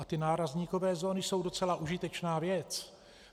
A ty nárazníkové zóny jsou docela užitečná věc.